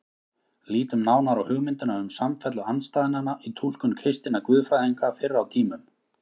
Lítum nánar á hugmyndina um samfellu andstæðnanna í túlkun kristinna guðfræðinga fyrr á tímum.